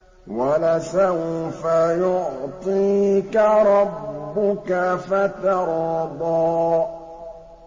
وَلَسَوْفَ يُعْطِيكَ رَبُّكَ فَتَرْضَىٰ